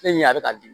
Ne ɲa bɛ ka di